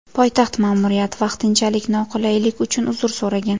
Poytaxt ma’muriyati vaqtinchalik noqulaylik uchun uzr so‘ragan.